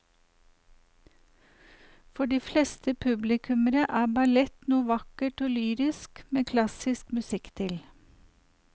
For de fleste publikummere er ballett noe vakkert og lyrisk med klassisk musikk til.